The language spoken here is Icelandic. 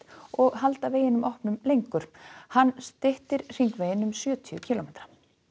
og halda veginum opnum lengur hann styttir hringveginn um sjötíu kílómetra